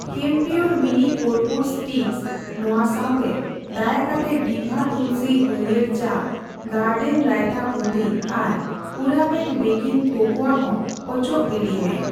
ᱠᱮᱢᱯᱤᱭᱳᱨ mini ᱠᱚᱨᱯᱩᱨ sticks ᱱᱚᱣᱟ ᱥᱟᱣᱛᱮ, ᱫᱟᱭᱟᱠᱟᱛᱮ ᱰᱤᱵᱷᱟ ᱛᱩᱞᱥᱤ ᱦᱟᱹᱲᱭᱟᱹᱨ ᱪᱟ, ᱜᱟᱨᱰᱮᱱ ᱨᱟᱭᱛᱟ ᱵᱩᱱᱫᱤ ᱟᱨ ᱯᱩᱨᱟᱢᱮᱴ ᱵᱮᱠᱤᱝ ᱠᱳᱠᱳᱟ ᱦᱚᱸ ᱚᱪᱚᱜ ᱜᱤᱰᱤᱭ ᱢᱮ ᱾